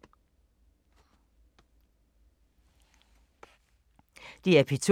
DR P2